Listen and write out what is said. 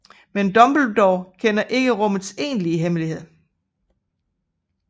Men Dumbledore kender ikke rummets egentligt hemmelighed